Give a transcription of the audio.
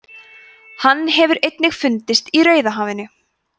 hann hefur einnig fundist í rauðahafinu